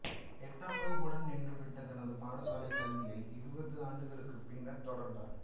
எட்டாம் வகுப்புடன் நின்றுவிட்ட தனது பாடசாலைக் கல்வியை இருபது ஆண்டுகளுக்குப் பின்னர் தொடர்ந்தார்